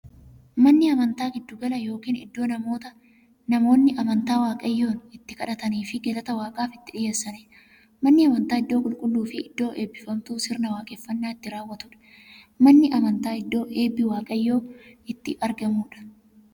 Manni amantaa giddu gala yookiin iddoo namoonni amantaa waaqayyoon itti kadhataniifii galata waaqaaf itti dhiyeessaniidha. Manni amantaa iddoo qulqulluufi iddoo eebbifamtuu, sirna waaqeffannaa itti raawwatuudha. Manni amantaa iddoo eebbi waaqayyoo itti argamuudha.